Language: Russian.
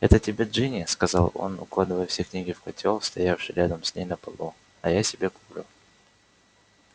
это тебе джинни сказал он укладывая все книги в котёл стоявший рядом с ней на полу а я себе куплю